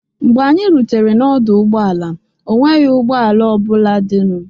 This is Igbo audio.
Mgbe anyị rutere n'ọdụ ụgbọala, ọ nweghị ụgbọ ala ọ bụla dịnụ.